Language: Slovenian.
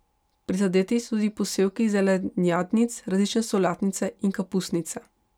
Prizadeti so tudi posevki zelenjadnic, različne solatnice in kapusnice.